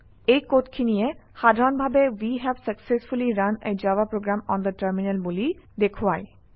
এই কডখিনিয়ে সাধাৰণভাৱে we have successfully run a Java program on the terminal বুলি দেখুৱায়